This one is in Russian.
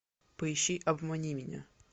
поищи обмани меня